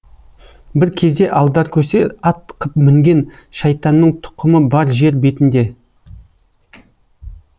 бір кезде алдаркөсе ат қып мінген шайтанның тұқымы бар жер бетінде